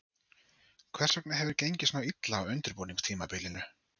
Hvers vegna hefur gengið svona illa á undirbúningstímabilinu?